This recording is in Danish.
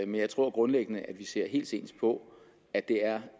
men jeg tror grundlæggende at vi ser helt ens på at det er